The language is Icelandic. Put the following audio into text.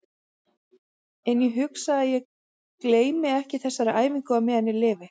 En ég hugsa að ég gleymi ekki þessari æfingu á meðan ég lifi.